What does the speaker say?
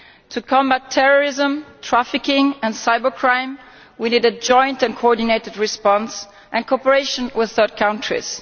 To combat terrorism, trafficking and cybercrime we need a joint and coordinated response, and cooperation with third countries